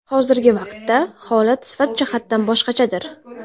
Hozirgi vaqtda holat sifat jihatdan boshqachadir.